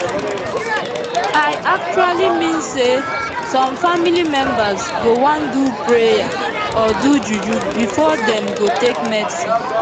i actually mean say some family members go wan do prayer or do juju before dem go take medicine